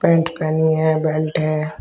Pant पहनी है belt है।